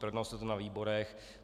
Projednalo se to na výborech.